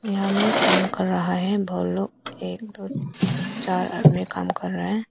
यहां में काम कर रहा है वो लोग एक दो चार आदमी काम कर रहा है।